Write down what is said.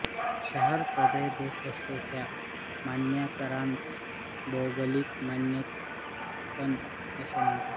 शहरप्रदेशदेश असतो त्या मानांकनास भौगोलिक मानांकन असे म्हणतात